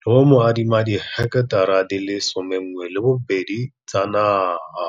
le go mo adima di heketara di le 12 tsa naga.